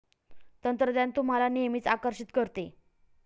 तंत्रज्ञान तुम्हाला नेहमीच आकर्षीत करते.